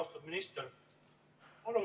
Austatud minister!